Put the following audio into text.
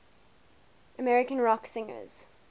american rock singers